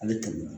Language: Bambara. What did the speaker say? A bɛ tɛmɛ